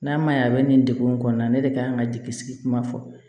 N'a ma ɲɛ a bɛ nin degun in kɔnɔna ne de kan ka jigi sigi kuma fɔ